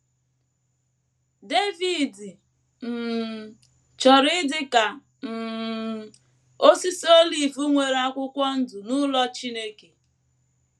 Devid um chọrọ ịdị ka “ um osisi olive nwere akwụkwọ ndụ n’ụlọ Chineke. ”